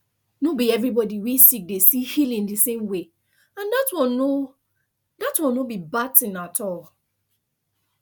no be everybody wey sick dey see healing the same way and that one no that one no be bad thing at all